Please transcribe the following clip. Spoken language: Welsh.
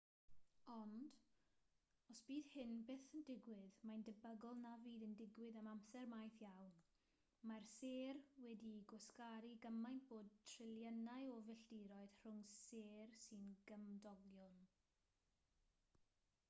ond os bydd hyn byth yn digwydd mae'n debygol na fydd yn digwydd am amser maith iawn mae'r sêr wedi'u gwasgaru gymaint bod triliynau o filltiroedd rhwng sêr sy'n gymdogion